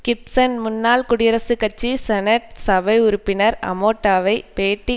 கிப்ஸன் முன்னாள் குடியரசுக் கட்சி செனட் சபை உறுப்பினர் அமட்டோவை பேட்டி